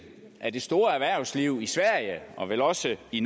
af det store erhvervsliv i sverige og vel også i